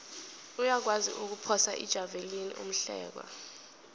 uyakwazi ukuphosa ijavelina umhlekwa